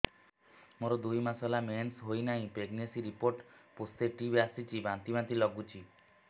ମୋର ଦୁଇ ମାସ ହେଲା ମେନ୍ସେସ ହୋଇନାହିଁ ପ୍ରେଗନେନସି ରିପୋର୍ଟ ପୋସିଟିଭ ଆସିଛି ବାନ୍ତି ବାନ୍ତି ଲଗୁଛି